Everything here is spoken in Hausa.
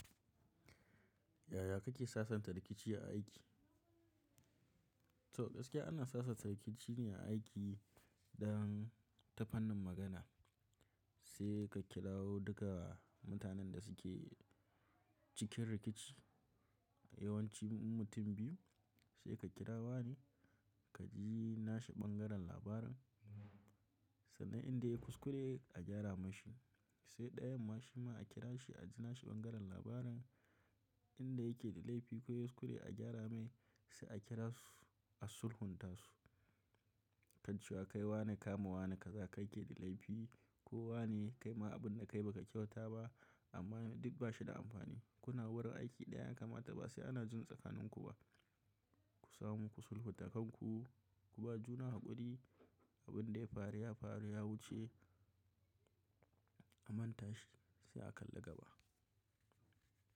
Yaya kake sasanta rikici a aiki? To, gaskiya ana sasanta rikici ne a aiki dan tafannin magana. Sai ka kira duka mutanen da suke cikin rikici, yawanci mutum biyu sai ka kira wa ne ka ji nashi bangaren labarin sannan inda ya yi kuskure a gyara mashi. Sai ɗayan ma shi ma a kira shi a ji nashi bangaren labarin inda yake da laifi ko yuskure a gyara mai sai a kira su a sulhunta su. Kan ce wa kai wa ne kama wa ne kaza kai ke da laifi ko wa ne kai ma abun da kai ba ka kyauta ba amma duk ba shi da amfani. Kuna warin aiki ɗayan kama ta ba sai ana jin tsakanin ku ba. Ku samu ku sulhunta kanku ku ba juna haƙuri abin da ya faru ya faru ya wuce a manta shi sai a kalli gaba.